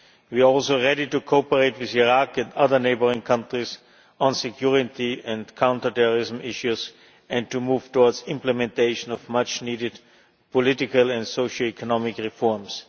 We are also ready to cooperate with Iraq and other neighbouring countries on security and counter terrorism issues and to move towards implementation of much needed political and socio economic reforms.